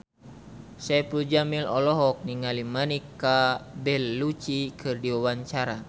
Saipul Jamil olohok ningali Monica Belluci keur diwawancara